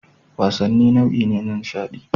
Wasanni nau'i ne na nishaɗi